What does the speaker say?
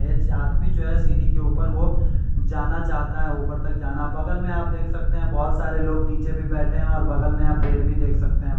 आदमी जो हैसीरी के ऊपर वह जाना चाहता है ऊपर तक जाना बगल में आप देख सकते हैं बहुत सारे लोग नीचे भी बैठे हैंऔर बगल में आप पेड़ भी देख सकते हैं।